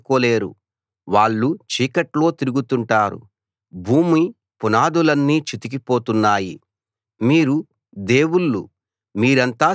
వాళ్లకు తెలివి లేదు అర్థం చేసుకోలేరు వాళ్ళు చీకట్లో తిరుగుతుంటారు భూమి పునాదులన్నీ చితికి పోతున్నాయి